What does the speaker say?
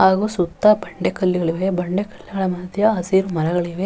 ಹಾಗು ಸುತ್ತ ಬಂಡೆ ಕಲ್ಲುಗಳಿವೆ ಬಂಡೆ ಕಲ್ಲುಗಳ ಮದ್ಯೆ ಹಸಿರು ಮರಗಳಿವೆ.